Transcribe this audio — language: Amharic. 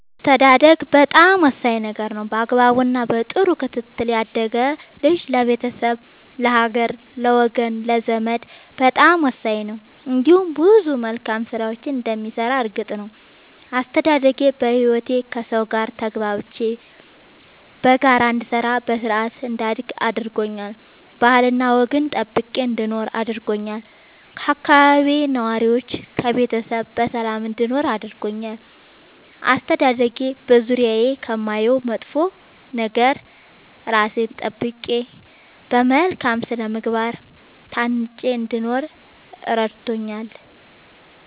አስተዳደግ በጣም ወሳኝ ነገር ነው በአግባቡ እና በጥሩ ክትትል ያደገ ልጅ ለቤተሰብ ለሀገር ለወገን ለዘመድ በጣም ወሳኝ ነው እንዲሁም ብዙ መልካም ስራዎችን እንደሚሰራ እርግጥ ነው። አስተዳደጌ በህይወቴ ከሠው ጋር ተግባብቼ በጋራ እንድሰራ በስርአት እንዳድግ አድርጎኛል ባህልና ወግን ጠብቄ እንድኖር አድርጎኛል ከአካባቢዬ ነዋሪዎች ከቤተሰብ በሰላም እንድኖር አድርጎኛል። አስተዳደጌ በዙሪያዬ ከማየው መጥፎ ነገር እራሴን ጠብቄ በመልካም ስነ ምግባር ታንጬ እንድኖር እረድቶኛል።